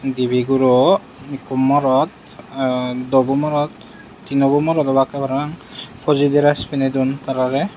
dibe guro ekku morot dobu morot tinobu morot obakke parapang phoji dress piney dun tarare.